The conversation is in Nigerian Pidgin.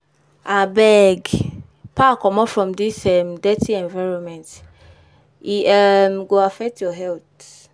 Abeg, pack comot from dis um dirty environment, e um go affect your health.